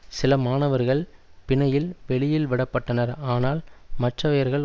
சில மாணவர்கள் பிணையில் வெளியில் விட பட்டனர் ஆனால் மற்றையவர்கள்